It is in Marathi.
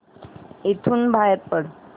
इथून बाहेर पड